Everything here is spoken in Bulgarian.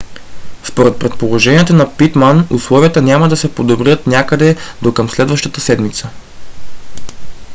според предположенията на питман условията няма да се подобрят някъде до към следващата седмица